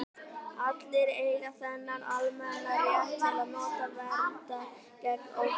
allir eiga þennan almenna rétt til að njóta verndar gegn ofbeldi